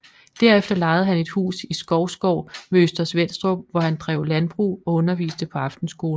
Derefter lejede han et hus i Skovsgård ved Øster Svenstrup hvor han drev landbrug og underviste på aftenskole